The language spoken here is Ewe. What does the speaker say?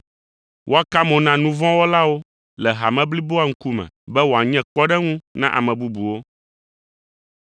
Woaka mo na nu vɔ̃ wɔlawo le hame bliboa ŋkume be wòanye kpɔɖeŋu na ame bubuwo.